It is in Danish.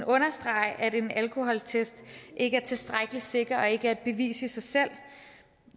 understrege at en alkoholtest ikke er tilstrækkelig sikker og ikke er et bevis i sig selv